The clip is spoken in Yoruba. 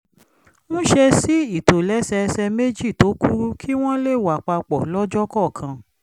ń ṣe sí ìtòlẹ́sẹẹsẹ méjì tó kúrú kí wọ́n lè wà papọ̀ lọ́jọ́ kọ̀ọ̀kan